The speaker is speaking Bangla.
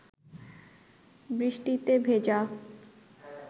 বৃষ্টিতে ভেজা